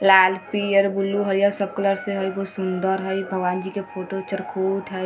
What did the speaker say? लाल पियर ब्लू हरियर सब कलर से हेय बहुत सुन्दर हेय भगवान जी के फोटो चरखुट हेय।